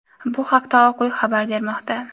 Bu haqda Oq uy xabar bermoqda.